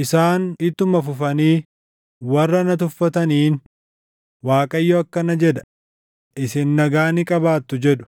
Isaan ittuma fufanii warra na tuffataniin, ‘ Waaqayyo akkana jedha: isin nagaa ni qabaattu’ jedhu.